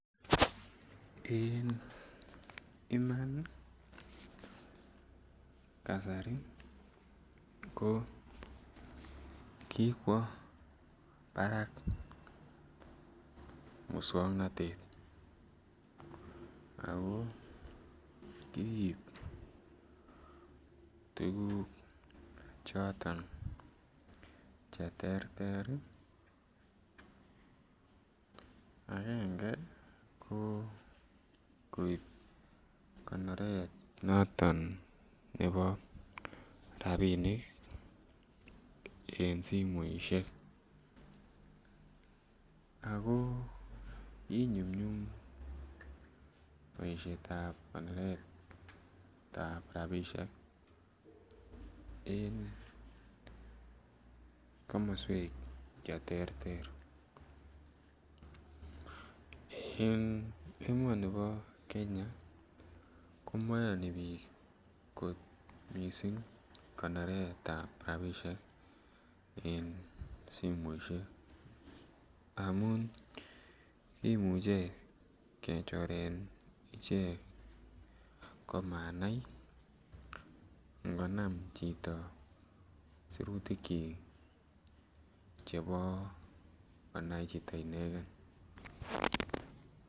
En Iman ii kasari ko kikwo Barak muswongnotet ako kiib tuguk choton che terter ii angenge ko koib konoret noton nebo rabinik en simoishek ako kinyumnyum boishetab konoretab rabishek en komoswek che terter en emonibo Kenya ko moyoni biik kot missing konoretab rabishek en simoishek amun kimuche kechoren ichek komanai ngonam chito sirutikyik chebo konai chito inegen